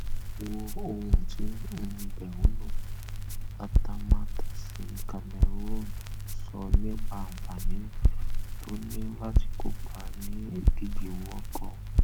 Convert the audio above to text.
wo ohun tí mbéuno atamátàsécameroonun sọ nípa àǹfàní tó ní láti kópa ní ìdíje world cup